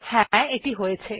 হ্যা এটি হয়েছে